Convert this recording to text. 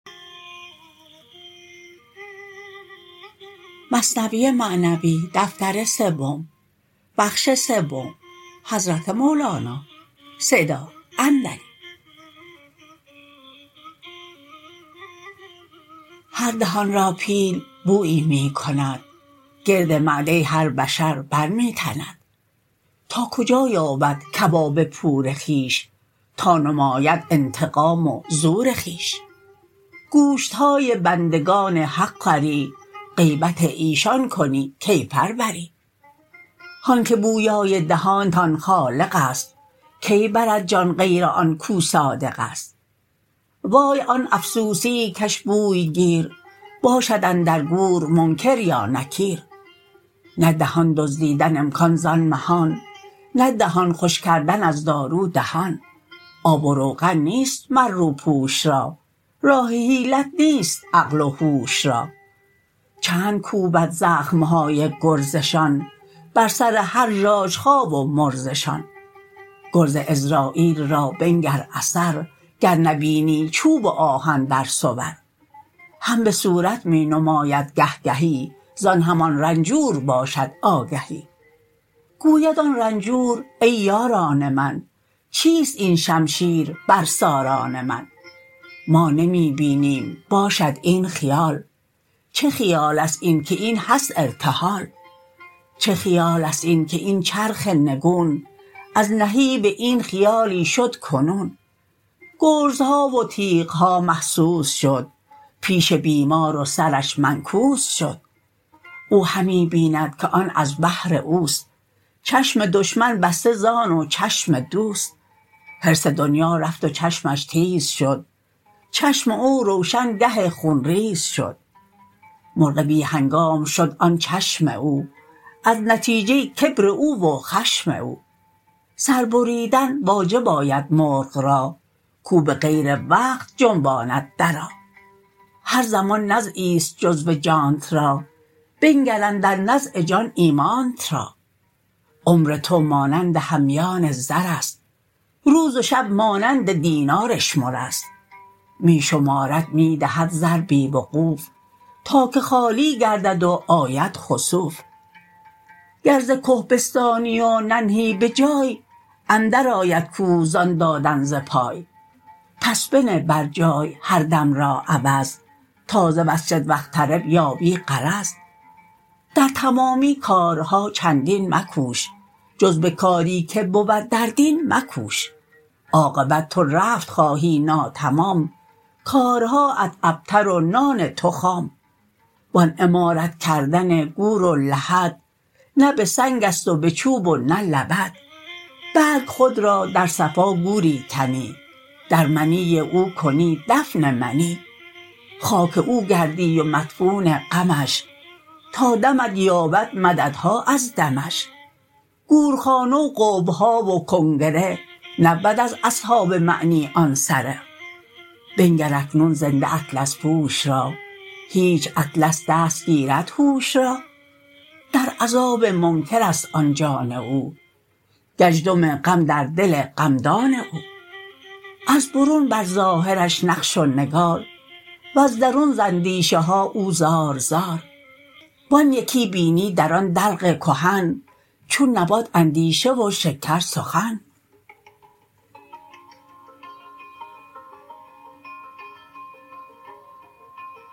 هر دهان را پیل بویی می کند گرد معده هر بشر بر می تند تا کجا یابد کباب پور خویش تا نماید انتقام و زور خویش گوشت های بندگان حق خوری غیبت ایشان کنی کیفر بری هان که بویای دهانتان خالق است کی برد جان غیر آن کاو صادق است وای آن افسوسیی کش بوی گیر باشد اندر گور منکر یا نکیر نه دهان دزدیدن امکان زان مهان نه دهان خوش کردن از دارو دهان آب و روغن نیست مر روپوش را راه حیلت نیست عقل و هوش را چند کوبد زخم های گرزشان بر سر هر ژاژخا و مرزشان گرز عزراییل را بنگر اثر گر نبینی چوب و آهن در صور هم به صورت می نماید گه گهی زان همان رنجور باشد آگهی گوید آن رنجور ای یاران من چیست این شمشیر بر ساران من ما نمی بینیم باشد این خیال چه خیالست این که این هست ارتحال چه خیالست این که این چرخ نگون از نهیب این خیالی شد کنون گرزها و تیغ ها محسوس شد پیش بیمار و سرش منکوس شد او همی بیند که آن از بهر اوست چشم دشمن بسته زان و چشم دوست حرص دنیا رفت و چشمش تیز شد چشم او روشن گه خون ریز شد مرغ بی هنگام شد آن چشم او از نتیجه کبر او و خشم او سر بریدن واجب آید مرغ را کاو به غیر وقت جنباند درا هر زمان نزعی ست جزو جانت را بنگر اندر نزع جان ایمانت را عمر تو مانند همیان زر ست روز و شب مانند دینار اشمر ست می شمارد می دهد زر بی وقوف تا که خالی گردد و آید خسوف گر ز که بستانی و ننهی بجای اندر آید کوه زان دادن ز پای پس بنه بر جای هر دم را عوض تا ز واسجد واقترب یابی غرض در تمامی کارها چندین مکوش جز به کاری که بود در دین مکوش عاقبت تو رفت خواهی ناتمام کارهاات ابتر و نان تو خام وان عمارت کردن گور و لحد نه به سنگست و به چوب و نه لبد بلک خود را در صفا گوری کنی در منی او کنی دفن منی خاک او گردی و مدفون غمش تا دمت یابد مددها از دمش گورخانه و قبه ها و کنگره نبود از اصحاب معنی آن سره بنگر اکنون زنده اطلس پوش را هیچ اطلس دست گیرد هوش را در عذاب منکرست آن جان او گزدم غم در دل غمدان او از برون بر ظاهرش نقش و نگار وز درون ز اندیشه ها او زار زار و آن یکی بینی در آن دلق کهن چون نبات اندیشه و شکر سخن